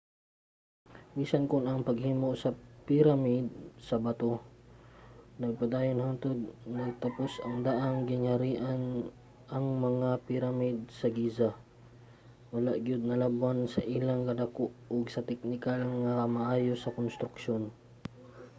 bisan kon ang paghimo sa piramide sa bato nagpadayon hangtod natapos ang daang gingharian ang mga piramide sa giza wala gyud nalabwan sa ilang kadako ug sa teknikal nga kamaayo sa konstruksyon